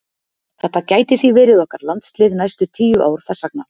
Þetta gæti því verið okkar landslið næstu tíu ár þess vegna.